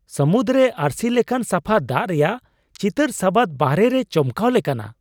ᱥᱟᱹᱢᱩᱫ ᱨᱮ ᱟᱹᱨᱥᱤ ᱞᱮᱠᱟᱱ ᱥᱟᱯᱷᱟ ᱫᱟᱜ ᱨᱮᱭᱟᱜ ᱪᱤᱛᱟᱹᱨ ᱥᱟᱵᱟᱫ ᱵᱟᱦᱚᱨᱮ ᱨᱮ ᱪᱚᱢᱠᱟᱣ ᱞᱮᱠᱟᱱᱟᱜᱼᱟ !